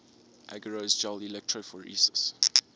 agarose gel electrophoresis